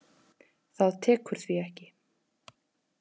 Það tekur því ekki.